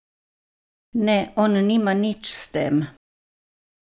Ne, on nima nič s tem.